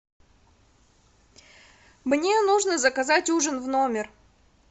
мне нужно заказать ужин в номер